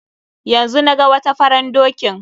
Yanzu naga wata faran dokin.